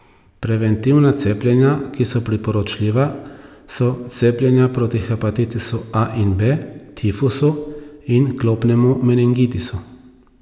Preventivna cepljenja, ki so priporočljiva, so cepljenja proti hepatitisu A in B, tifusu in klopnemu meningitisu.